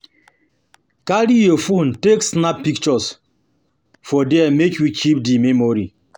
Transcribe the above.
Carry your phone take snap pictures for there make you keep di memory